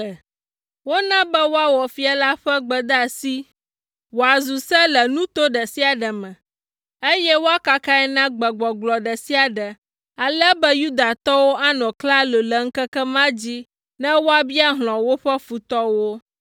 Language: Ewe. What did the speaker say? Wona be woawɔ fia la ƒe gbedeasi wòazu se le nuto ɖe sia ɖe me, eye woakakae na gbegbɔgblɔ ɖe sia ɖe ale be Yudatɔwo anɔ klalo le ŋkeke ma dzi ne woabia hlɔ̃ woƒe futɔwo.